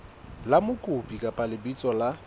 la mokopi kapa lebitso la